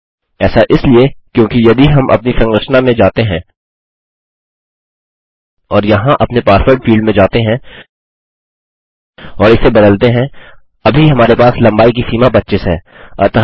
ऐसा इसलिए क्योंकि यदि हम अपनी संरचना में जाते हैं और यहाँ अपने पासवर्ड फील्ड में जाते हैं और इसे बदलते हैं अभी हमारे पास लम्बाई की सीमा 25 है